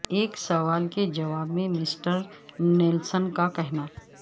ایک سوال کے جواب میں مسٹر نیلسن کا کہنا